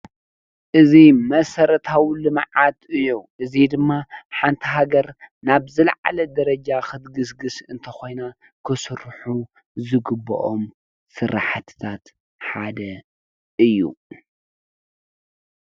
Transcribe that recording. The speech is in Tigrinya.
እዚ መሰረታዊ ልምዓት እዩ። እዚ ድማ ሓንቲ ሃገር ናብ ዝለዓለ ደረጃ ክትግስግስ እንተኮይና ክስርሑ ዝግበኦም ስራሕቲታት ሓደ እዩ።